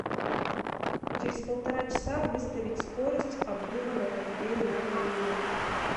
через полтора часа выставить скорость обдува на кондее на минимум